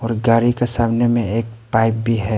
और गाड़ी के सामने में एक पाइप भी है।